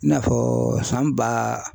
I n'a fɔ san ba